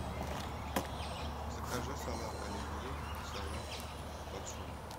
закажи салат оливье и салат под шубой